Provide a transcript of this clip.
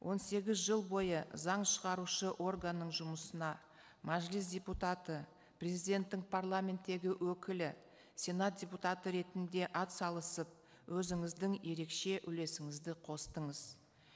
он сегіз жыл бойы заң шығарушы органның жұмысына мәжіліс депутаты президенттің парламенттегі өкілі сенат депутаты ретінде атсалысып өзіңіздің ерекше үлесіңізді қостыңыз